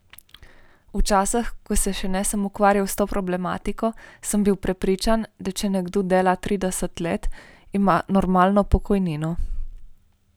Včasih, ko se še nisem ukvarjal s to problematiko, sem bil prepričan, da če nekdo dela trideset let, ima normalno pokojnino.